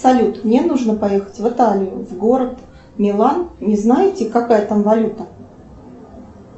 салют мне нужно поехать в италию в город милан не знаете какая там валюта